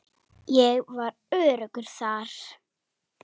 Ég var öruggur þar.